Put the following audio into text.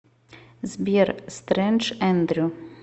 сбер стрэндж эндрю